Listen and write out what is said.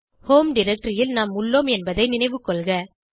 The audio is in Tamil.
ஹோம் டைரக்டரி ல் நாம் உள்ளோம் என்பதை நினைவுகொள்க